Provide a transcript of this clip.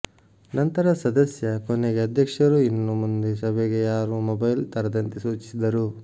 ನಂತರ ಸದಸ್ಯ ಕೊನೆಗೆ ಅಧ್ಯಕ್ಷರು ಇನ್ನು ಮುಂದೆ ಸಭೆಗೆ ಯಾರು ಮೊಬೈಲ್ ತರದಂತೆ ಸೂಚಿಸಿದರು